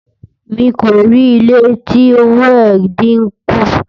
mí kò rí ilé tí òwò é dín kún